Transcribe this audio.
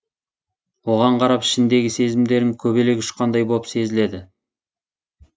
оған қарап ішіндегі сезімдерін көбелек ұшқандай боп сезіледі